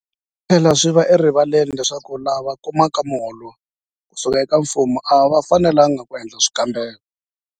Swi tlhela swi va erivaleni leswaku lava kumaka miholo ku suka eka mfumo a va fanelanga ku endla swikombelo.